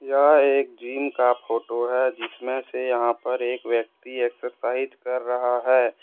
यह एक जिम का फोटो है जिसमें से यहां पर एक व्यक्ति एक्सरसाइज कर रहा है।